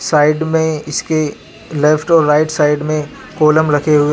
Side में इसके left और राइट साइड में कोलम रखे हुए हैं.